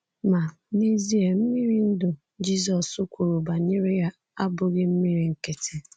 Ma, n’ezie, “ mmiri ndụ” Jizọs kwuru banyere ya abụghị mmiri nkịtị.